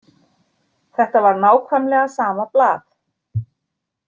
Þetta var nákvæmlega sama blað.